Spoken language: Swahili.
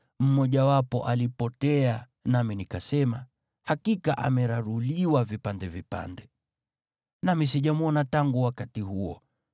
Mmojawapo alipotea, nami nikasema, “Hakika ameraruliwa vipande vipande.” Nami sijamwona tangu wakati huo.